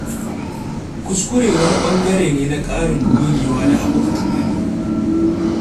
Kuskure wani ɓangare ne na ƙarin gogewa da haɓaka tunani.